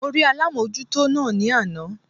Mo rí alámójútó náà ní àná